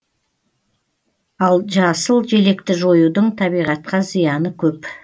ал жасыл желекті жоюдың табиғатқа зияны көп